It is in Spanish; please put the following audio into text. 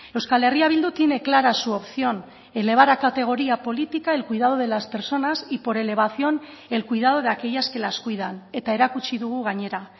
euskal herria bildu tiene clara su opción elevar a categoría política el cuidado de las personas y por elevación el cuidado de aquellas que las cuidan eta erakutsi dugu gainera